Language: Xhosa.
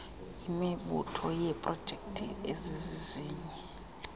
yemibutho yeeprojekthi ezizizinye